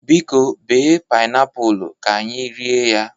Biko, bee painiapulu, ka anyi rie ya